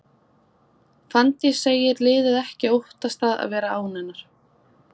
Fanndís segir liðið ekki óttast það að vera án hennar.